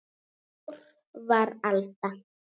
Ár var alda